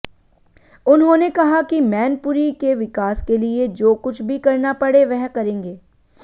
उन्होंने कहा कि मैनपुरी के विकास के लिए जो कुछ भी करना पड़े वह करेंगे